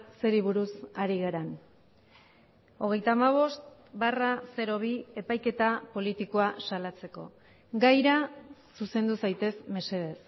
zeri buruz ari garen hogeita hamabost barra bi epaiketa politikoa salatzeko gaira zuzendu zaitez mesedez